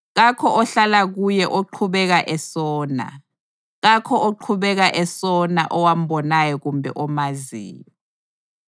Kakho ohlala kuye oqhubeka esona. Kakho oqhubeka esona owambonayo kumbe omaziyo.